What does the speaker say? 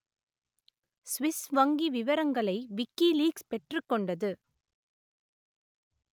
Swiss வங்கி விவரங்களை WikiLeaks பெற்றுக் கொண்டது